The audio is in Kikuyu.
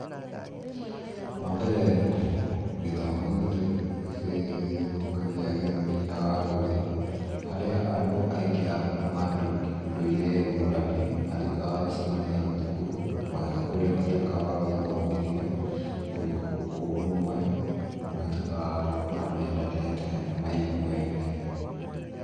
Wa mbere gĩthomo, nĩkĩninaga ngũĩ, harĩa andũ aingĩ a kuma ndũire ngũrani matuĩkaga a gũcamania thukuru kũrĩa matuĩkaga a gũthomithio, ũrũmwe, na matuĩkaga a gũkũra mendanĩte na maiguaine.